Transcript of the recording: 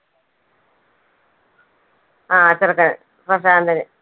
ആ ചെറുക്കൻ പ്രശാന്തൻ.